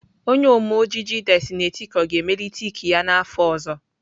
Onye Ome ojiji Destiny Etiko ga-emelite ike ya n'afọ ọzọ.